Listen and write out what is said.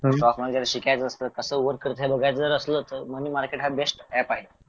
stock market वगैरे शिकायचं असलं तर कसं वर्क करतय बघायचं असलं तर मनी मनी मार्केट हा बेस्ट ऐप आहे